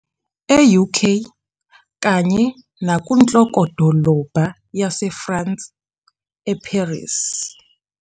E-UK kanye nakunhlokodolobha yaseFrance, e-Paris.